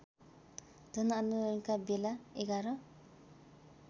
जनआन्दोलनका बेला ११